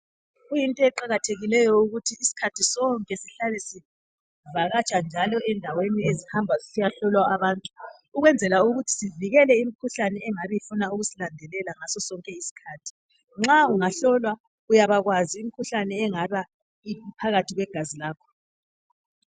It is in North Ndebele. Kuyinto eqakathekileyo ukuthi isikhathi sonke sihlale sivakatsha njalo endaweni ezihamba zisiyahlolwa abantu ukwenzela ukuthi sivikele imkhuhlane engabe ifuna ukusilandelela ngaso sonke isikhathi. Nxa ungahlolwa uyabakwazi imkhuhlane engaba iphakathi kwegazi lakho.